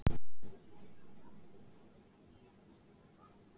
Páll: Hvað er hann að bjóða þér upp á?